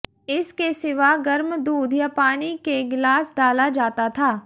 इस के सिवा गर्म दूध या पानी के गिलास डाला जाता था